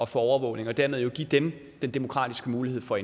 få overvågning og dermed vil give dem den demokratiske mulighed for